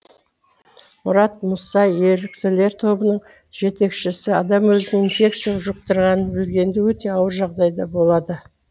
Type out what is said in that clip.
мұрат мұса еріктілер тобының жетекшісі адам өзінің инфекция жұқтырғанын білгенде өте ауыр жағдайда болады